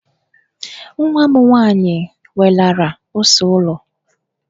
Nwa m nwaanyị welara ose ụlọ.